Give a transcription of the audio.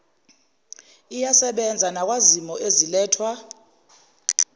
iyasebenza nakwizimo ezilethwa